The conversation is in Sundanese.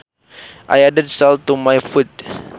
I added salt to my food